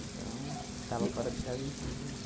Então, estava fora de casa, a gente podia ir ver.